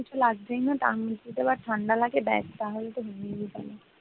কিছু লাগছে না তার উপর আবার ঠান্ডা লেগে গেলে ব্যাস হয়ে গেল।